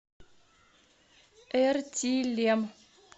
эртилем